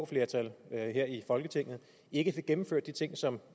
flertal her i folketinget ikke fik gennemført de ting som